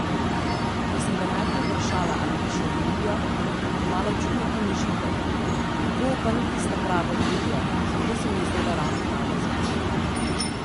Ko sem ga najprej vprašala, ali bi šel v Indijo, je malo čudno pomežikal, Goa pa ni tista prava Indija, zato se mi je zdela ravno prava izbira.